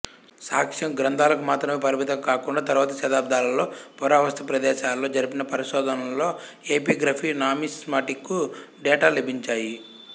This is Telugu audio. సాక్ష్యం గ్రంథాలకు మాత్రమే పరిమితం కాకుండా తరువాతి శతాబ్ధాలలో పురావస్తు ప్రదేశాలలో జరిపిన పరిశోధనలలో ఎపిగ్రఫీ నామిస్మాటికు డేటా లభించాయి